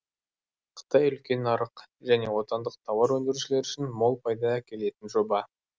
қытай үлкен нарық және отандық тауар өндірушілер үшін мол пайда әкелетін жоба